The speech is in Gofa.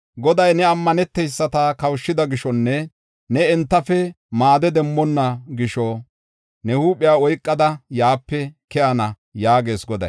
Goday ne ammaneteyisata kawushida gishonne ne entafe maade demmonna gisho ne huuphiya oykada yaape keyana” yaagees Goday.